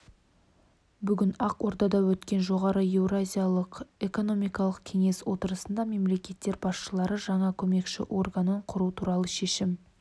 бүгін ақордада өткен жоғары еуразиялық экономикалық кеңес отырысында мемлекеттер басшылары жаңа көмекші органын құру туралы шешім